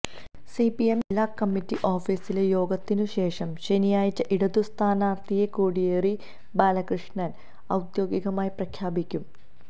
CPM ജില്ലാ committee ഓഫീസിലെ യോഗത്തിനു ശേഷം ശനിയാഴ്ച ഇടതു സ്ഥാനാര്ത്ഥിയെ കോടിയേരി ബാലകൃഷ്ണന് ഔദ്യോഗികമായി പ്രഖ്യാപിക്കും